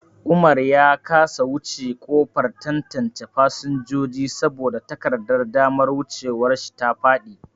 Umar ya kasa wuce kofar tantance fasinjoji saboda takardar damar wucewar shi ta faɗi.